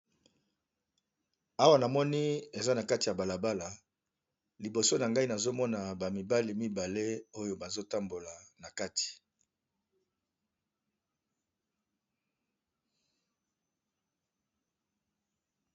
Awa namoni balakisi biso eza nakati ya balabala liboso nango namoni ba mibali mibale bazo tambula nakati